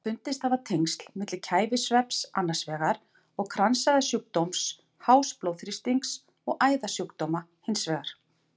Fundist hafa tengsl milli kæfisvefns annars vegar og kransæðasjúkdóms, hás blóðþrýstings og æðasjúkdóma hins vegar.